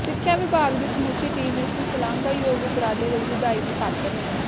ਸਿੱਖਿਆ ਵਿਭਾਗ ਦੀ ਸਮੁੱਚੀ ਟੀਮ ਇਸ ਸ਼ਲਾਘਾਯੋਗ ਉਪਰਾਲੇ ਲਈ ਵਧਾਈ ਦੀ ਪਾਤਰ ਹੈ